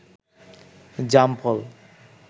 জাম ফল